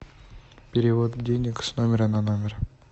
перевод денег с номера на номер